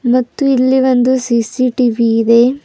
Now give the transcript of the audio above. ಮತ್ತು ಇಲ್ಲಿ ಒಂದು ಸಿ_ಸಿ_ಟಿ_ವಿ ಇದೆ.